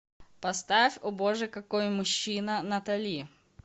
поставь о боже какой мужчина натали